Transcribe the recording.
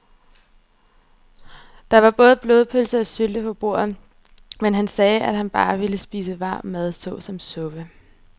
Der var både blodpølse og sylte på bordet, men han sagde, at han bare ville spise varm mad såsom suppe.